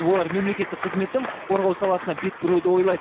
олар мемлекеттік қызметтің құқық қорғау саласына бет бұруды ойлайды